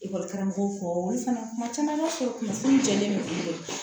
karamɔgɔw kɔ olu fana kuma caman b'a sɔrɔ kunnafoni jɛlen bɛ